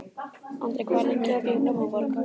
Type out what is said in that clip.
Andri, hvað er lengi opið í Blómaborg?